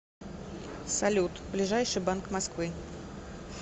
салют ближайший банк москвы